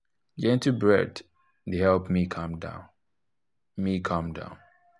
gentle breath dey help me calm down me calm down